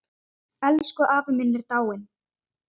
Elsku afi minn er dáinn.